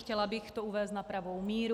Chtěla bych to uvést na pravou míru.